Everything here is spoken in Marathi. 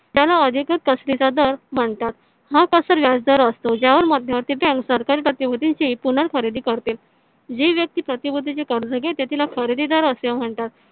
त्याला अधिक दर म्हणतात हा व्याजदर असतो ज्यावर मध्यवर्ती bank सरकारी पुनर्खरेदी करते जी व्यक्ती कर्ज घेते तिला खरेदीदार असे म्हणतात